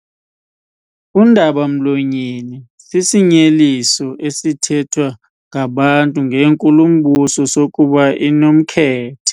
Undaba-mlonyeni sisinyeliso esithethwa ngabantu ngenkulumbuso sokuba inomkhethe.